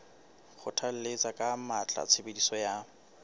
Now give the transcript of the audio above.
kgothalletsa ka matla tshebediso ya